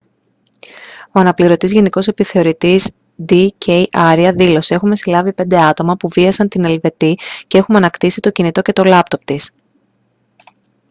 ο αναπληρωτής γενικός επιθεωρητής ντ. κ. άρια δήλωσε: «έχουμε συλλάβει πέντε άτομα που βίασαν την ελβετή και έχουμε ανακτήσει το κινητό και το λάπτοπ της